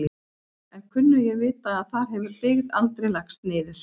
En kunnugir vita að þar hefur byggð aldrei lagst niður.